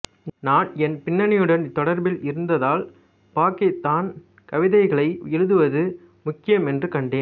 நான் என் பின்னணியுடன் தொடர்பில் இருந்ததால் பாக்கித்தான் கவிதைகளை எழுதுவது முக்கியம் என்று கண்டேன்